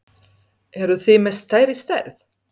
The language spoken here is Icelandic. Eruð þið með stærri stærð?